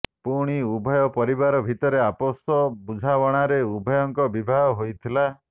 ପୁଣି ଉଭୟ ପରିବାର ଭିତରେ ଆପୋଷ ବୁଝାମଣାରେ ଉଭୟଙ୍କ ବିବାହ ହୋଇଥିଲା